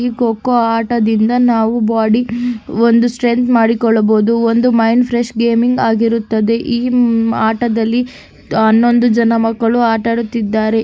ಈ ಖೋಖೋ ಆಟದಿಂದ ನಾವು ಬೊಡಿ ಒಂದು ಸ್ಟ್ರೆಂಥ್ ಮಾಡಿಕೊಳ್ಳಬಹುದು ಒಂದು ಮೈಂಡ್ ಫ್ರೆಶ್ ಗೇಮಿಂಗ್ ಆಗಿರುತ್ತದೆ ಈ ಆಟದಲ್ಲಿ ಹನ್ನೊಂದು ಮಕ್ಕಳು ಆಟ ಆಡುತ್ತಿದ್ದಾರೆ.